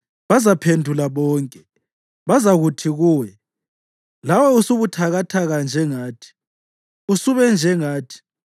Bazaphendula bonke, bazakuthi kuwe, “Lawe usubuthakathaka njengathi, usube njengathi.”